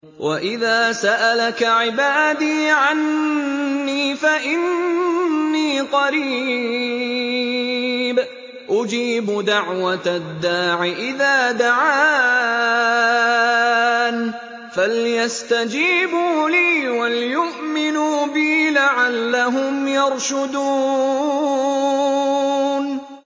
وَإِذَا سَأَلَكَ عِبَادِي عَنِّي فَإِنِّي قَرِيبٌ ۖ أُجِيبُ دَعْوَةَ الدَّاعِ إِذَا دَعَانِ ۖ فَلْيَسْتَجِيبُوا لِي وَلْيُؤْمِنُوا بِي لَعَلَّهُمْ يَرْشُدُونَ